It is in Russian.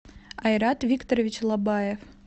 айрат викторович лобаев